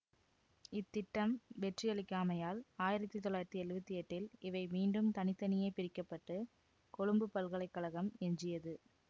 இத்திட்டம் வெற்றியளிக்காமையால் ஆயிரத்தி தொள்ளாயிரத்தி எழுவத்தி எட்டில் இவை மீண்டும் தனி தனியே பிரிக்க பட்டு கொழும்புப் பல்கலை கழகம் எஞ்சியது